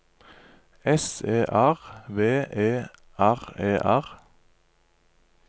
S E R V E R E R